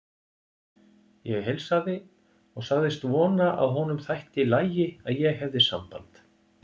Ég heilsaði og sagðist vona að honum þætti í lagi að ég hefði samband.